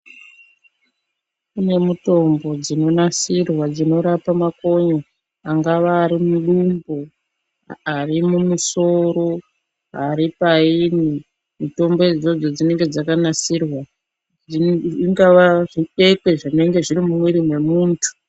Kune mutombo dzinonasirwa dzinorapa makonye. Angava ari mudumbu ari mumusoro aripainyi. Mutombo idzodzo dzinenge dzakanasirwa, zvingave zvikwekwe zvinenge zviri mumwiri mwemuntu.